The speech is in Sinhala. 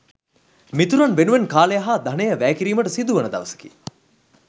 මිතුරන් වෙනුවෙන් කාලය හා ධනය වැය කිරීමට සිදුවන දවසකි.